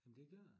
Jamen det gør det